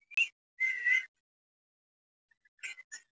Í henni fer sundrun næringarefnanna að mestu leyti fram.